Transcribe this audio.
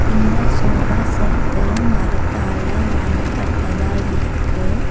இந்த sofa set மரத்தால ஆனப்பட்டதா இருக்கு.